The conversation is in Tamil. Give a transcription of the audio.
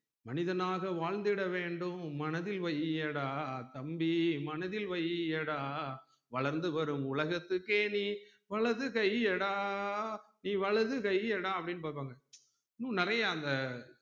மனிதனாக வாழ்ந்திட வேண்டும் மனதில் வையடா தம்பி மனதில் வையடா வளர்ந்து வரும் உலகத்துக்கே நீ வலதுக்கையடா நீ வலதுக்கையடா அப்டின்னு பாப்பாங்க இன்னும் நெறைய அந்த